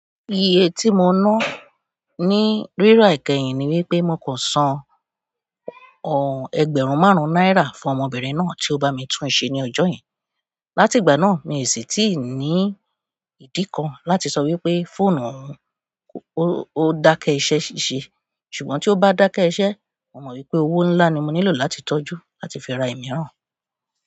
Iye tí mo ná ní ríra ikẹ́yìn ni wípé mọ kò san ọ̀ ẹgbẹ̀rún márùn náírà fún ọmọbìnrin náà tí ó bá mi tún ṣe ní ọjọ́ yen. Láti ìgbà náà mi sì tíì ní ìdí kan láti sọ wípé fóònù òun ó dákẹ́ iṣẹ́ siṣe. Ṣùgbọ́n tí ó bá dákẹ́ iṣẹ́, mo mọ̀ wípé owó ńlá ni mo nílò láti tọ́jú láti fi ra ìmíràn.